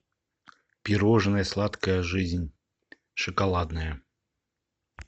пирожное сладкая жизнь шоколадное